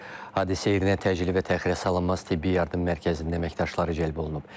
Hadisə yerinə təcili və təxirəsalınmaz tibbi yardım mərkəzindən əməkdaşları cəlb olunub.